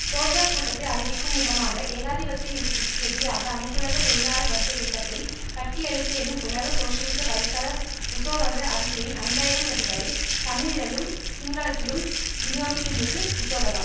சோசக கூட்டத்தை அறிவிக்கும் முகமாக ஏகாதிபத்திய யுத்தத்திற்கு எதிராக அனைத்துலக தொழிலாள வர்க்க இயக்கத்தை கட்டியெழுப்பு எனும் உலக சோசியலிச வலை தள உசோவத அறிக்கையின் ஐந்து ஆயிரம் பிதிகளை தமிழிழலும் சிங்களத்திலும் விநியோகித்திருந்தது உசோவதா